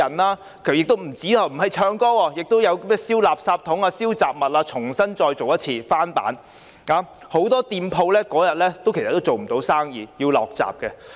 不僅如此，有人並不是唱歌，有人在燒垃圾箱和雜物，重新再做一次，是翻版，所以很多店鋪當天也做不到生意，要落閘。